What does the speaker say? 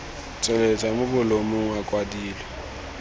tsweletswa mo bolumong a kwadilwe